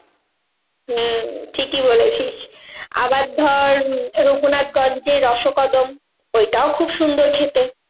হম ঠিকই বলেছিস আবার ধর রাঘুনাথগঞ্জের রসকদম, ওইটাও খুব সুন্দর খেতে।